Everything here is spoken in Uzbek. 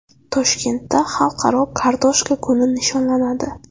Toshkentda Xalqaro kartoshka kuni nishonlanadi.